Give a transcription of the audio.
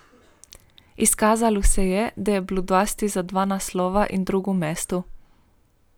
Izkazalo se je, da je bilo dovolj za dva naslova in drugo mesto.